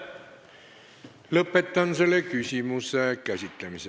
Lõpetan selle küsimuse käsitlemise.